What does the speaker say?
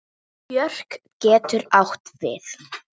Björk getur átt við